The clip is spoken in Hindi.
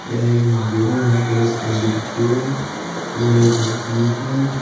यह एक मंदिर है यहां पर एक पंडित जी है और एक आदमी है।